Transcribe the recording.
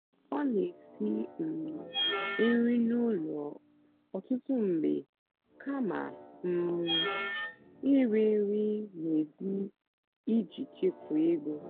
ọ́ nà-èsì um nrì n'ụ́lọ̀ ọ́tụtụ́ mgbe kàmà um ìrì nrì n'èzì ìjì chèkwáà égó.